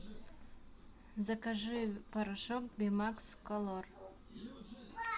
закажи порошок бимакс колор